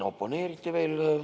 Oponeeriti veel.